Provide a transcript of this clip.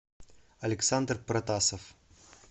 александр протасов